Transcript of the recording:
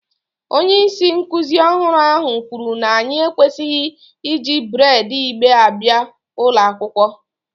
Onye isi nkuzi ọhụrụ ahụ kwuru na anyị ekwesịghị iji braid igbe abịa ụlọ akwụkwọ